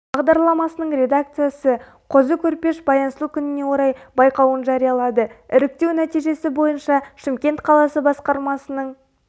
бағдарламасының редакциясы қозы көрпеш-баян сұлу күніне орай байқауын жариялады іріктеу нәтижесі бойынша шымкент қаласы басқармасының